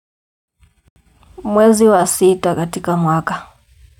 Mwezi wa sita katika mwaka.